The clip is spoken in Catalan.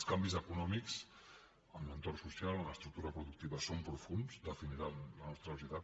els canvis econòmics en l’entorn social en l’estructura productiva són profunds definiran la nostra societat